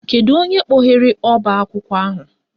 Kedu onye kpọghere ọbaakwụkwọ ahụ?